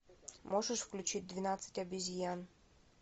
можешь включить двенадцать обезьян